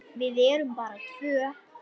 Við erum bara tvö.